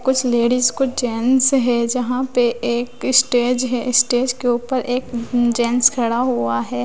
कुछ लेडिस कुछ जेंट्स है जहां पे एक स्टेज है स्टेज के ऊपर एक जेंट्स खड़ा हुआ है।